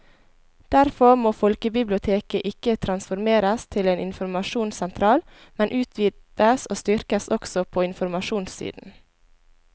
Derfor må folkebiblioteket ikke transformeres til en informasjonssentral, men utvides og styrkes også på informasjonssiden.